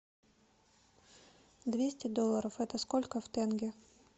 двести долларов это сколько в тенге